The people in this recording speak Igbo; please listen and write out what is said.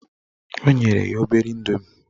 O nyere ya obere indomie.